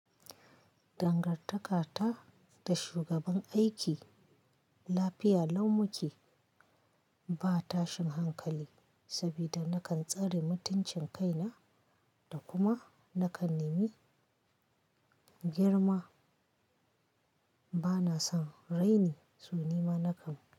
Dangantaka ta da shugaban aiki lafiya lau muke. Ba tashin hankali saboda nakan tsare mutuncin kaina da kuma nakan nimi girma. Bana son raini, suni makan.